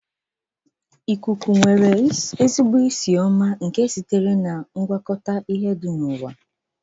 Ihe na-esi ísì ụtọ na-esi ísì ụtọ nke ikuku na-esi ísì ụtọ.